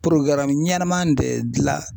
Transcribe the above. ɲɛnama de dila